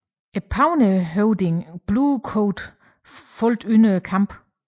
Pawneehøvding Blue Coat faldt under kampen